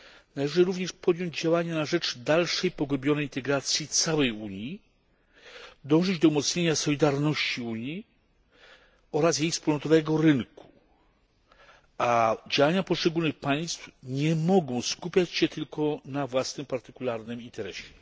Należy również podjąć działania na rzecz dalszej, pogłębionej integracji całej Unii, dążyć do umocnienia solidarności Unii oraz jej wspólnotowego rynku, a działania poszczególnych państw nie mogą skupiać się tylko na własnym, partykularnym interesie.